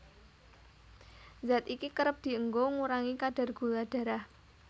Zat iki kerep dienggo ngurangi kadar gula darah